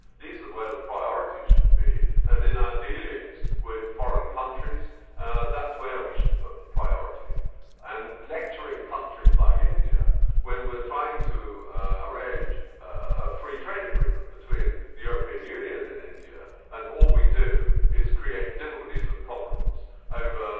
These are where the priorities should be and in our dealings with foreign countries that is where we should put the priority, and by lecturing countries like India when we are trying to arrange a free trade agreement between the European Union and India, all we do is create difficulties and problems over